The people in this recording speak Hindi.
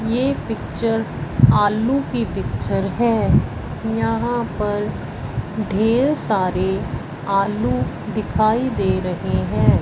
ये पिक्चर आलू की पिक्चर है यहां पर ढेर सारे आलू दिखाई दे रहे हैं।